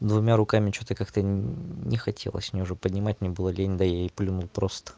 двумя руками что-то как-то не хотелось мне уже поднимать не было лень да я и плюнул просто